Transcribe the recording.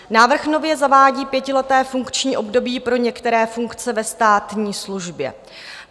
Návrh nově zavádí pětileté funkční období pro některé funkce ve státní službě.